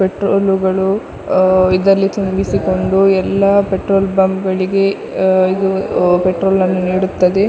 Petrol ಗಳು ಆ ಇದಲ್ಲಿ ತುಂಬಿಸಿಕೊಂಡು ಎಲ್ಲಾ ಪೆಟ್ರೋಲ್ ಪಂಪ್ ಗಳಿಗೆ ಆ ಇದು ಪೆಟ್ರೋಲ್ ಅನ್ನು ನೀಡುತ್ತದೆ.